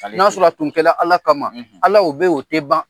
N'a sɔrɔ tun kɛla ala kama ala o bɛ ye o tɛ ban